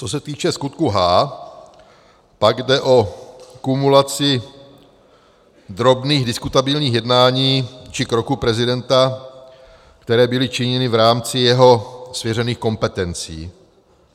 Co se týče skutku H, pak jde o kumulaci drobných diskutabilních jednání či kroků prezidenta, které byly činěny v rámci jeho svěřených kompetencí.